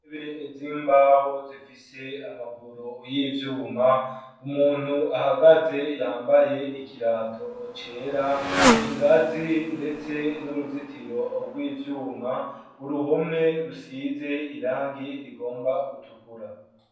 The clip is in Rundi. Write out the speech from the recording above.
Bez'imbaho zifise amaguru y'ivyuma umuntu ahagaze yambaye ikirato ocera ingazi, ndetse n'uruzitiro rw ivyuma uruhome rusize irangi rigomba gutukura.